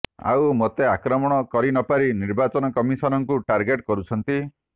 ଆଉ ମୋତେ ଆକ୍ରମଣ କରିନପାରି ନିର୍ବାଚନ କମିଶନଙ୍କୁ ଟାର୍ଗେଟ କରୁଛନ୍ତି